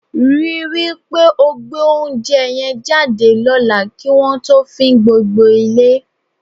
Rí i wí pé o gbé oúnjẹ yẹn jáde lọ́la kí wọn tó fín gbogbo ilé.